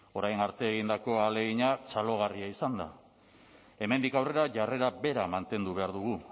orain arte egindako ahalegina txalogarria izan da hemendik aurrera jarrera bera mantendu behar dugu